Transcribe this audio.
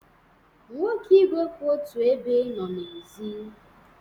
Nwoke igwe kwụ otu ebe nọ n'èzí.